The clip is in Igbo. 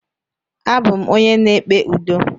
Abụ m onye na-ekpe udo.